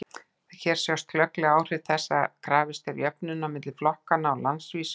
hér sjást glögglega áhrif þess að krafist er jöfnunar milli flokkanna á landsvísu